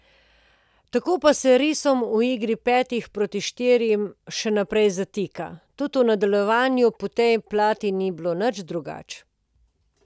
Tako pa se risom v igri petih proti štirim še naprej zatika, tudi v nadaljevanju po tej plati ni bilo nič drugače.